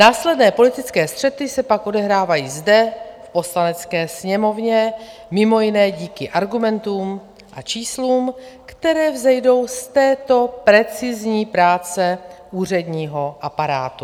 Následné politické střety se pak odehrávají zde v Poslanecké sněmovně, mimo jiné díky argumentům a číslům, které vzejdou z této precizní práce úředního aparátu.